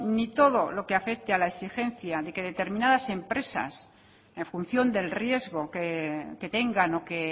ni todo lo que afecte a la exigencia de que determinadas empresas en función del riesgo que tengan o que